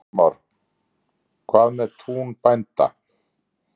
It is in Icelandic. Kristján Már: Hvað með tún bænda?